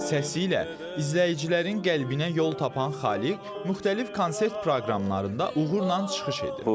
Səsi ilə izləyicilərin qəlbinə yol tapan Xaliq müxtəlif konsert proqramlarında uğurla çıxış edib.